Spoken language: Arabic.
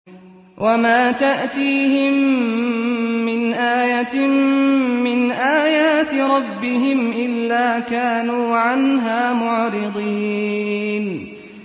وَمَا تَأْتِيهِم مِّنْ آيَةٍ مِّنْ آيَاتِ رَبِّهِمْ إِلَّا كَانُوا عَنْهَا مُعْرِضِينَ